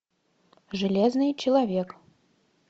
железный человек